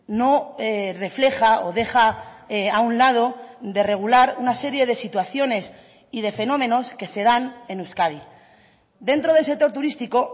no refleja o deja a un lado de regular una serie de situaciones y de fenómenos que se dan en euskadi dentro del sector turístico